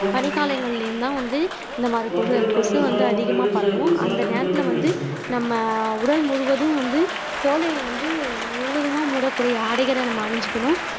பனிக்காலங்களிலேயும்தான் வந்து இந்த மாதிரி கொசு கொசு வந்து அதிகமா பரவும் அந்த நேரத்திலே வந்து நம்ம உடல் முழுவதும் வந்து தோலை வந்து முழுவதுமா மூடக்கூடிய ஆடைகளை நம்ம அணிஞ்சுக்கணும்